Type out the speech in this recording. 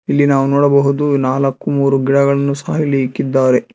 ಇಲ್ಲಿ ನಾವು ನೋಡಬಹುದು ನಾಲ್ಕು ಮೂರು ಗಿಡಗಳನ್ನು ಸ್ಪಾಯ್ಲಿ ಇಕ್ಕಿದ್ದಾರೆ.